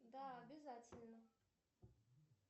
да обязательно